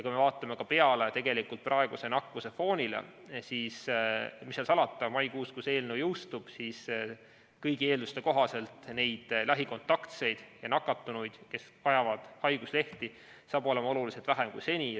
Kui me vaatame praegust nakkuse fooni, siis mis seal salata, maikuus, kui see eelnõu jõustub, on kõigi eelduste kohaselt lähikontaktseid ja nakatunuid, kes vajavad haiguslehte, oluliselt vähem kui seni.